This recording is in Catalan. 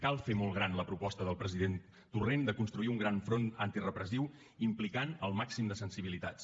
cal fer molt gran la proposta del president torrent de construir un gran front antirepressiu implicant el màxim de sensibilitats